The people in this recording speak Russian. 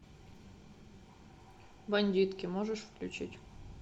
бандитки можешь включить